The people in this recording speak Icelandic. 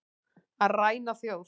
Að ræna þjóð